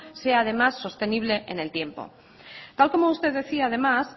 sea además sostenible en el tiempo tal como usted decía además